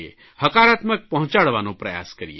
હકારાત્મક પહોંચાડવાનો પ્રયાસ કરીએ